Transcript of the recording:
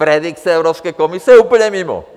Predikce Evropské komise je úplně mimo!